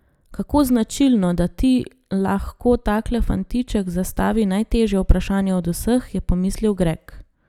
Kako značilno, da ti lahko takle fantiček zastavi najtežje vprašanje od vseh, je pomislil Greg.